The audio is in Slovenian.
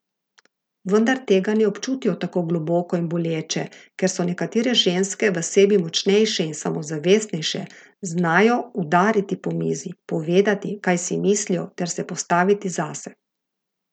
Vendar tega ne občutijo tako globoko in boleče, ker so nekatere ženske v sebi močnejše in samozavestnejše, znajo udariti po mizi, povedati, kaj si mislijo, ter se postaviti zase.